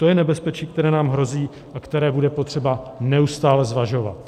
To je nebezpečí, které nám hrozí a které bude potřeba neustále zvažovat.